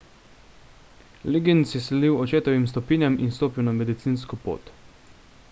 liggins je sledil očetovim stopinjam in stopil na medicinsko pot